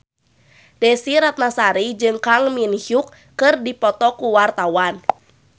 Desy Ratnasari jeung Kang Min Hyuk keur dipoto ku wartawan